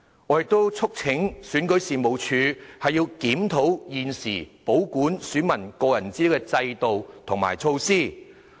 我亦促請選舉事務處檢討現時保管選民個人資料的制度和措施。